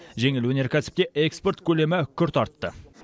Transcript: жеңіл өнеркәсіпте экспорт көлемі күрт артты